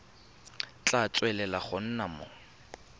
tla tswelela go nna mo